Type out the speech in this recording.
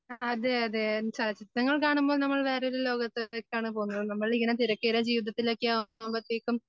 അതെ അതെ ചലച്ചിത്രങ്ങൾ കാണുമ്പോ നമ്മൾ വേറൊരു ലോകത്തേക്കാണ് പോകുന്നത് നമ്മളിങ്ങനെ തിരക്കേറിയ ജീവിതത്തിലൊക്കെ ആകുമ്പോത്തേക്കും